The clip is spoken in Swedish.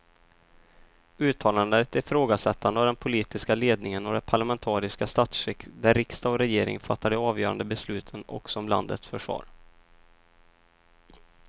Uttalandena är ett ifrågasättande av den politiska ledningen och det parlamentariska statsskick där riksdag och regering fattar de avgörande besluten också om landets försvar.